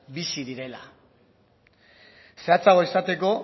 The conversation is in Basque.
bizi direla zehatzagoa izateko